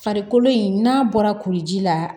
Farikolo in n'a bɔra koliji la